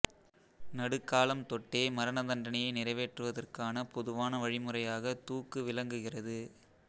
நடுக்காலம் தொட்டே மரணதண்டனையை நிறைவேற்றுவதற்கான பொதுவான வழிமுறையாகத் தூக்கு விளங்குகிறது